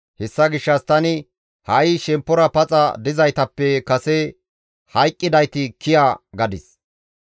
Hessa gishshas tani, «Ha7i shemppora paxa dizaytappe kase hayqqidayti kiya» gadis.